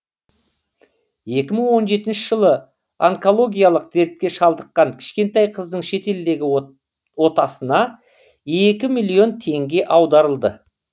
екі мың он жетінші жылы онкологиялық дертке шалдыққан кішкентай қыздың шетелдегі отасына екі миллион теңге аударылды